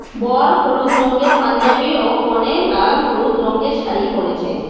বর হলুদ রঙের পাঞ্জাবি ও কোনে লাল হলুদ রঙের শাড়ি পড়েছেন।